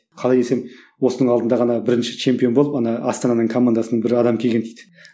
қалай десем осының алдында ғана бірінші чемпион болып ана астананың командасынан бір адам келген дейді